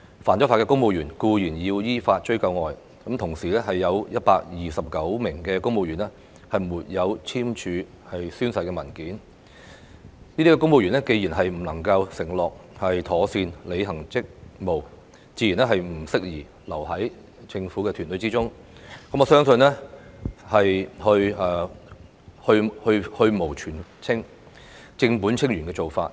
犯法的公務員固然須依法追究，但除此以外，有129名公務員沒有簽署宣誓文件，這些公務員既然不能承諾妥善履行職務，自然不適宜留在政府團隊之中，我相信這是去蕪存菁、正本清源的做法。